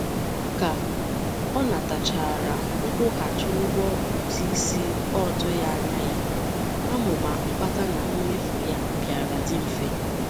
Ka ọ natachara nkwughachi ụgwọ ụtụisi ọ tụghị anya ya, amụma mkpata na mmefu ya bịara dị mfe.